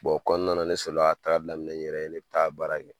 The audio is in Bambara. O kɔnɔna na, ne sɔrɔ la ka tagali daminɛ n yɛrɛ ye. Ne bi taa baara kɛ.